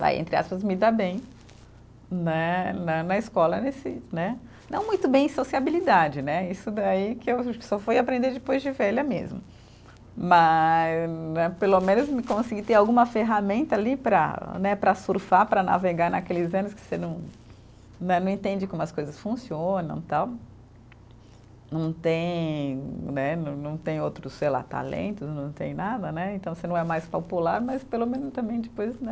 Vai, entre aspas, me dar bem, né, né na escola, nesse, né, não muito bem em sociabilidade, né, isso daí que eu só fui aprender depois de velha mesmo, mas, né, pelo menos me consegui ter alguma ferramenta ali para, né, para surfar, para navegar naqueles anos que você não, né, não entende como as coisas funcionam, tal, não tem, né, não não tem outros, sei lá, talentos, não tem nada, né, então você não é mais popular, mas pelo menos também depois, né,